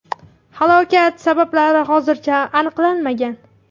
Halokat sabablari hozircha aniqlanmagan.